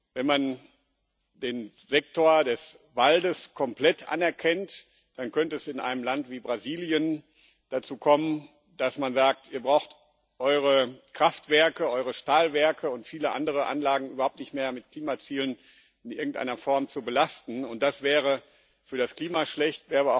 Wenn man den Sektor des Waldes komplett anerkennt, dann könnte es in einem Land wie Brasilien dazu kommen, dass man sagt Ihr braucht eure Kraftwerke, eure Stahlwerke und viele andere Anlagen überhaupt nicht mehr mit Klimazielen in irgendeiner Form zu belasten, und das wäre für das Klima schlecht.